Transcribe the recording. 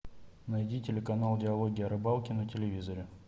найди телеканал диалоги о рыбалке на телевизоре